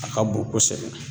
A ka bon kosɛbɛ.